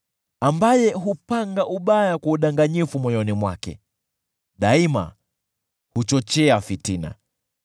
ambaye hupanga ubaya kwa udanganyifu moyoni mwake: daima huchochea fitina.